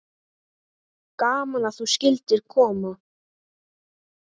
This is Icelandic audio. Gaman að þú skyldir koma.